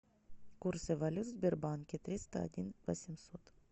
курсы валют в сбербанке триста один восемьсот